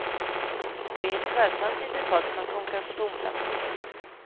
Vi är ett skötsamt litet folk som kånkar på tomflaskor.